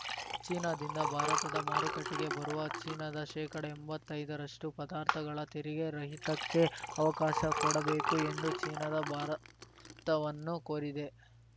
ಚೀನಾದಿಂದ ಭಾರತದ ಮಾರುಕಟ್ಟೆಗೆ ಬರುವ ಚೀನಾದ ಶೇಕಡ ಎಂಬತ್ತೈದರಷ್ಟು ಪದಾರ್ಥಗಳ ತೆರಿಗೆ ರಹಿತಕ್ಕೆ ಅವಕಾಶ ಕೊಡಬೇಕು ಎಂದು ಚೀನಾದ ಭಾರತವನ್ನು ಕೋರಿದೆ